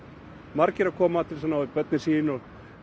margir að koma til að ná í börnin sín og